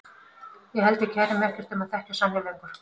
Ég held að ég kæri mig ekkert um að þekkja Sonju lengur.